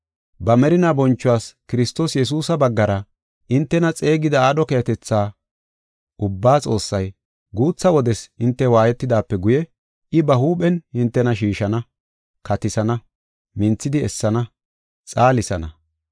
Ba merinaa bonchuwas Kiristoos Yesuusa baggara hintena xeegida aadho keehatetha ubbaa Xoossay, guutha wodes hinte waayetidaape guye, I ba huuphen hintena shiishana, katisana, minthidi essana, xaalisana.